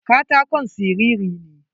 Katakon siriri ne.